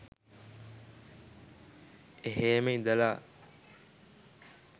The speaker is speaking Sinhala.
එහේම ඉඳල